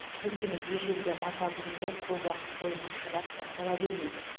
өйткені ежелгі мата бұйымдар көп уақыт бойына шыдап сақтала бермейді